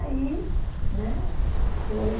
Aí, né, foi...